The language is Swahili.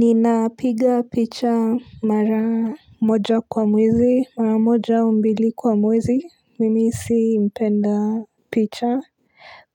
Nina piga picha maramoja kwa mwezi. Maramoja umbili kwa mwezi mimi si impenda picha.